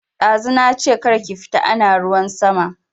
Dazu nache kar ki fita ana ruwan sama